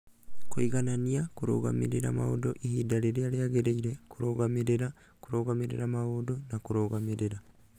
Kũiganania, kũrũgamĩrĩra maũndũ ihinda rĩrĩa rĩagĩrĩire, kũrũgamĩrĩra, kũrũgamĩrĩra maũndũ, na kũrũgamĩrĩra.